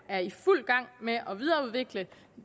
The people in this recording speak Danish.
er i fuld gang med at videreudvikle